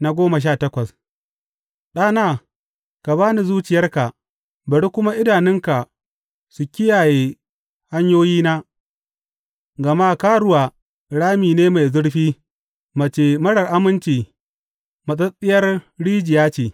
Faɗi goma sha takwas Ɗana, ka ba ni zuciyarka bari kuma idanunka su kiyaye hanyoyina, gama karuwa rami ne mai zurfi mace marar aminci matsattsiyar rijiya ce.